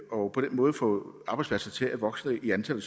og på den måde få arbejdspladser til at vokse i antal og